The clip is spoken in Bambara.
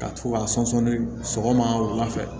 Ka to ka sɔnsɔn ni sɔgɔma wula fɛ